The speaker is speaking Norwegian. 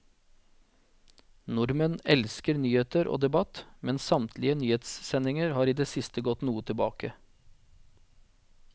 Nordmenn elsker nyheter og debatt, men samtlige nyhetssendinger har i det siste gått noe tilbake.